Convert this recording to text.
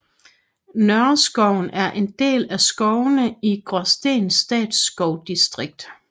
Nørreskoven er en del af skovene i Gråsten Statsskovdistrikt